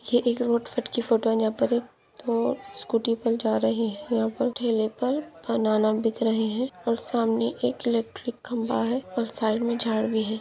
ये एक रोड फिट की फोटो हैं जहा पर एक स्कूटी बी जा रही है यहा पर ठेले पर बनाना बिक रहे हैं और सामने एक इलैक्ट्रिक खंबा है और साइड मे झाड भी हैं।